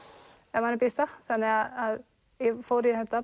ef manni býðst það þannig að ég fór í þetta